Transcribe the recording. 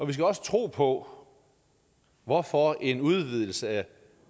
vi skal også tro på hvorfor en udvidelse af